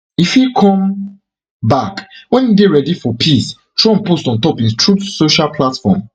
e fit come back wen e dey ready for peace trump post ontop im truth social platform